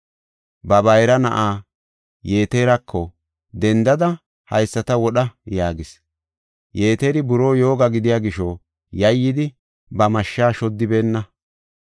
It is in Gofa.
Ba bayra na7aa Yeterako, “Dendada, haysata wodha” yaagis. Yeteri buroo yooga gidiya gisho yayyidi ba mashshaa shoddibeenna.